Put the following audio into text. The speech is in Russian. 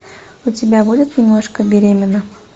у тебя будет немножко беременна